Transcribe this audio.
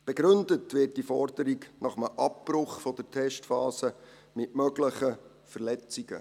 Begründet wird diese Forderung nach einem Abbruch der Testphase mit möglichen Verletzungen.